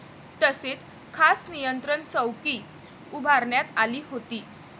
तसेच खास नियंत्रण चौकी उभारण्यात आली होती.